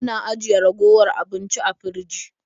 Ana ajiye ragowar abinci a firji.